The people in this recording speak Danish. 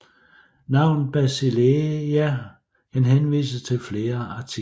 Navnet Basileia kan henvise til flere artikler